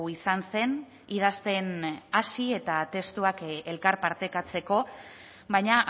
izan zen idazten hasi eta testuak elkarpartekatzeko baina